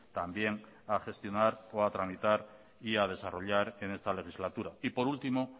también a gestionar o a tramitar y a desarrollar en esta legislatura y por último